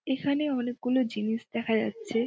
এখানে অনেকগুলো জিনিস দেখা যাচ্ছে ।